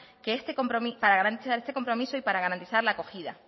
este compromiso y para garantizar la acogida